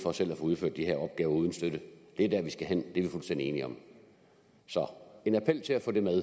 for selv at få udført de her opgaver uden støtte det er der vi skal hen det er vi fuldstændig enige om så en appel til at få det med